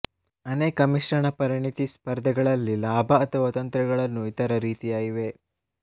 ಅನೇಕ ಮಿಶ್ರಣ ಪರಿಣತಿ ಸ್ಪರ್ಧೆಗಳಲ್ಲಿ ಲಾಭ ಅಥವಾ ತಂತ್ರಗಳನ್ನು ಇತರ ರೀತಿಯ ಇವೆ